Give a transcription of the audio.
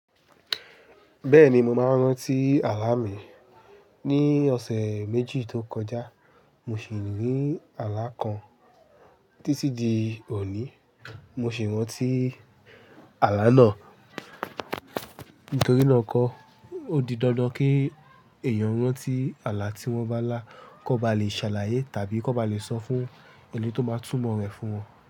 Bẹ́ẹ̀ni mo máa ń rántí àlá mi. Ni ọ̀sẹ̀ méjì tó kọjá mo sì rí àlá kan títí di òní mo sì rántí àlá náà. Nítorí náà kọ́, ó di dandan kí èèyàn rántí àlá tí wọ́n bá lá, kó ba lè ṣàlàyé tàbí kó ba lè sọ fún ẹni tó bá túmọ̀ rẹ̀ fún wọn.